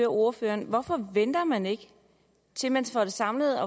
ordføreren hvorfor venter man ikke til man får det samlet